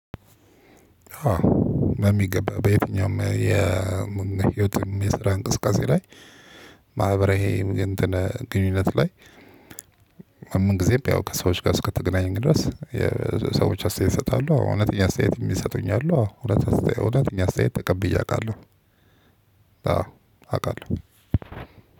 በሚገባ በየትኛውም የህይወትም የስራ እንቅስቃሴ ላይ ማህበራዊ የእንትን ግንኙነት ላይ። ምን ጊዜም ያው ከሰዎች ጋር እስከተገናኘን ድረስ የሰዎች አስተያየት ይሰጣሉ እውነተኛ አስተያየት የሚሰጡኝ አሉ። እውነተኛ አስተያየት ተቀብዬ አውቃለሁ። አዎ አውቃለሁ።